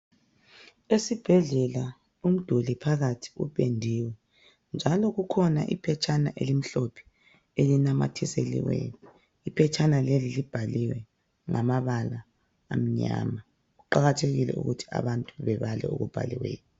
Esibhedlela umduli phakathi upendiwe . Njalo kukhona iphetshana elimhlophe elinamathiseliweyo, iphetshana leli libhaliwe ngamabala amnyama. Kuqakathekile ukuthi abantu babale okubhaliweyo.